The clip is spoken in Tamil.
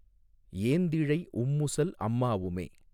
ஏந்திழை உம்முசல் அம்மாவுமே